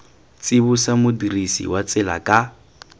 tsibosa modirisi wa tsela ka